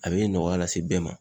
A be nɔgɔya lase bɛɛ ma